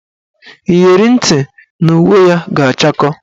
Iyeri ntị na uwe ya ga-achakọ